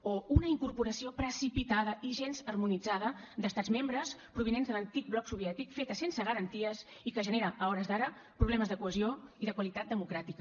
o una incorporació precipitada i gens harmonitzada d’estats membres provinents de l’antic bloc soviètic feta sense garanties i que genera a hores d’ara problemes de cohesió i de qualitat democràtica